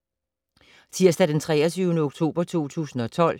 Tirsdag d. 23. oktober 2012